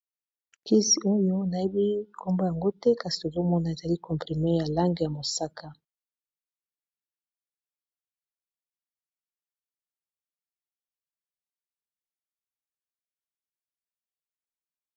Kisi oyo nayebi nkombo yango te kasi tozomona ezali comprime ya langi ya mosaka.